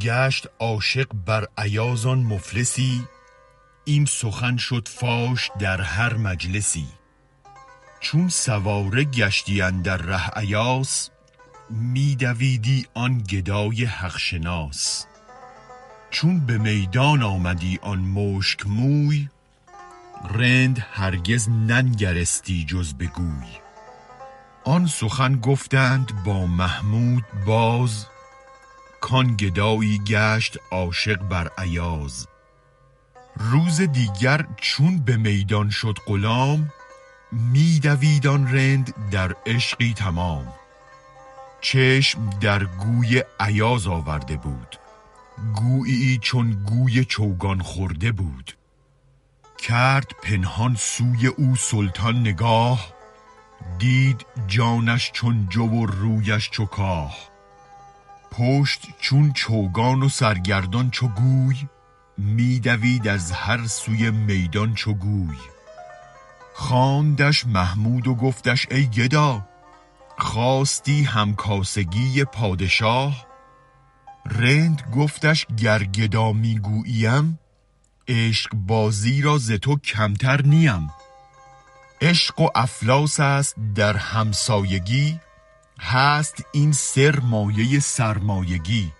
گشت عاشق بر ایاز آن مفلسی این سخن شد فاش در هر مجلسی چون سواره گشتی اندر ره ایاس می دویدی آن گدای حق شناس چون به میدان آمدی آن مشک موی رند هرگز ننگرستی جز بگوی آن سخن گفتند با محمود باز کان گدایی گشت عاشق بر ایاز روزدیگر چون به میدان شد غلام می دوید آن رند در عشقی تمام چشم درگوی ایاز آورده بود گوییی چون گوی چوگان خورده بود کرد پنهان سوی او سلطان نگاه دید جانش چون جو و رویش چو کاه پشت چون چوگان و سرگردان چو گوی می دوید از هر سوی میدان چو گوی خواندش محمود و گفتش ای گدا خواستی هم کاسگی پادشاه رند گفتش گر گدا می گوییم عشق بازی را ز تو کمتر نیم عشق و افلاس است در هم سایگی هست این سر مایه سرمایگی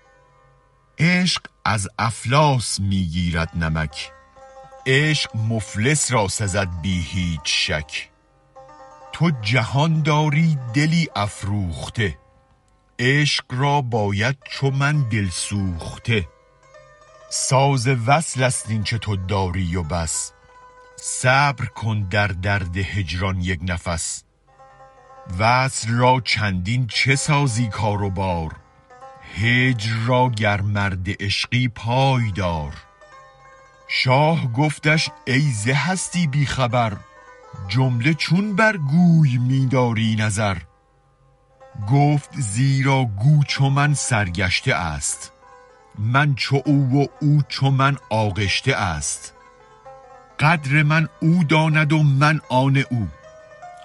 عشق از افلاس می گیرد نمک عشق مفلس را سزد بی هیچ شک تو جهان داری دلی افروخته عشق را باید چو من دل سوخته ساز وصل است اینچ تو داری و بس صبر کن در درد هجران یک نفس وصل را چندین چه سازی کار و بار هجر را گر مرد عشقی پای دار شاه گفتش ای ز هستی بی خبر جمله چون برگوی می داری نظر گفت زیرا گو چو من سرگشته است من چو او و او چو من آغشته است قدر من او داند و من آن او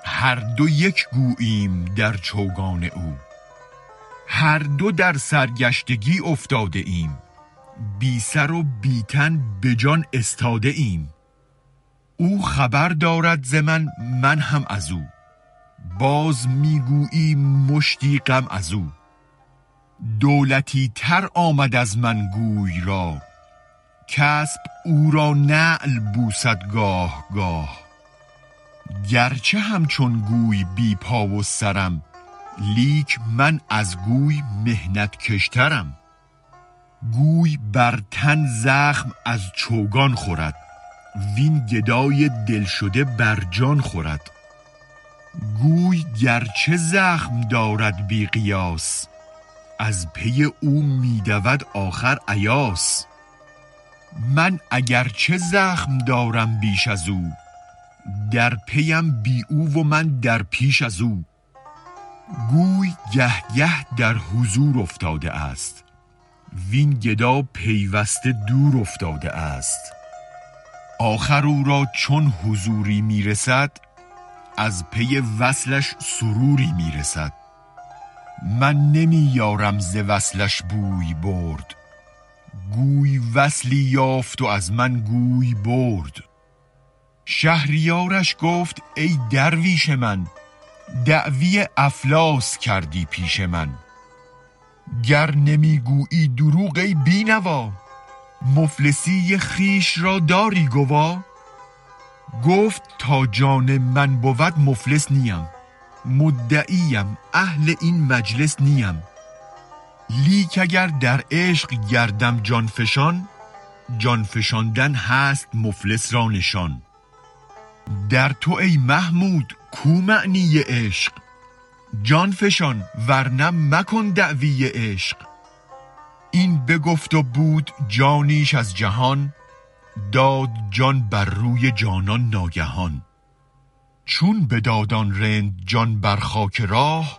هر دو یک گوییم در چوگان او هر دو در سرگشتگی افتاده ایم بی سرو بی تن به جان استاده ایم او خبر دارد ز من من هم ازو باز می گوییم مشتی غم ازو دولتی تر آمد از من گوی راه کاسب او را نعل بوسد گاه گاه گرچه همچون گوی بی پا و سرم لیک من از گوی محنت کش ترم گوی برتن زخم از چوگان خورد وین گدای دل شده بر جان خورد گوی گرچه زخم دارد بی قیاس از پی او می دود آخر ایاس من اگر چه زخم دارم بیش ازو درپیم بی او و من در پیش ازو گوی گه گه در حضور افتاده است وین گدا پیوسته دور افتاده است آخر او را چون حضوری می رسد از پی وصلش سروری می رسد من نمی یارم ز وصلش بوی برد گوی وصلی یافت و از من گوی برد شهریارش گفت ای درویش من دعوی افلاس کردی پیش من گر نمی گویی دروغ ای بی نوا مفلسی خویش را داری گوا گفت تا جان من بود مفلس نیم مدعی ام اهل این مجلس نیم لیک اگر در عشق گردم جان فشان جان فشاندن هست مفلس را نشان در تو ای محمود کو معنی عشق جان فشان ورنه مکن دعوی عشق این بگفت و بود جانیش از جهان داد جان بر روی جانان ناگهان چون بداد آن رند جان بر خاک راه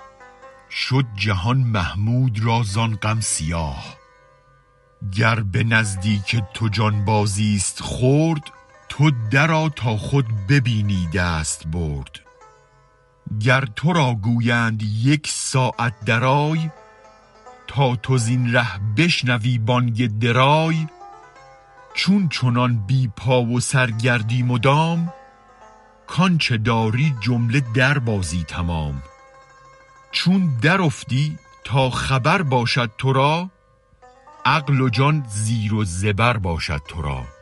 شد جهان محمود را زان غم سیاه گر به نزدیک تو جان بازیست خرد تو درآ تا خود ببینی دست برد گر ترا گویند یک ساعت درآی تا تو زین ره بشنوی بانگ درای چون چنان بی پا و سرگردی مدام کانچ داری جمله در بازی تمام چون درافتی تا خبر باشد ترا عقل و جان زیر و زبر باشد ترا